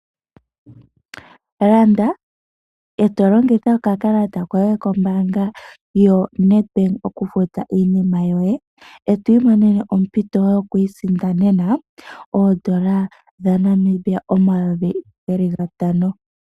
Landa e to longitha okakalata koye kombaanga yoNedbank okufuta iinima yoye, e to imonene ompito yokuisindanena oondola dha Namibia omayovi gatano.